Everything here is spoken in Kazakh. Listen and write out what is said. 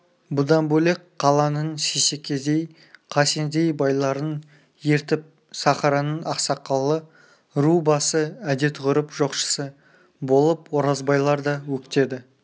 бұдан бөлек қаланың сейсекедей қасендей байларын ертіп сахараның ақсақалы ру басы әдет-ғұрып жоқшысы болып оразбайлар да өктеді